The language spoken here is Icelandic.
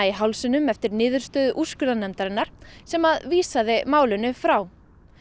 í hálsinum eftir niðurstöðu úrskurðarnefndarinnar sem vísaði málinu frá